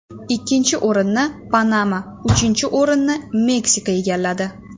Ikkinchi o‘rinni Panama, uchinchi o‘rinni Meksika egalladi.